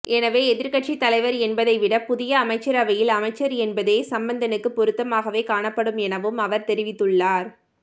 எனவே எதிர்கட்சி தலைவர் என்பதை விட புதிய அமைச்சரவையில் அமைச்சர் என்பதே சம்பந்தனுக்கு பொருத்தமாகவே காணப்படும் எனவும் அவர் தெரிவித்துள்ளார்